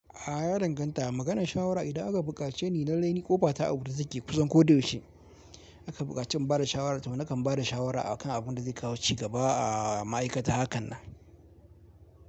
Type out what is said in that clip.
A ya danganta. Maganar shawara idan aka bukace ni na raini kofa ta a wurin da suke kusan ko da yaushe. A ka bukace ni bada shawara to na kan bada shawara akan abunda zai kawo ci gaba a ma'aikata hakan nan.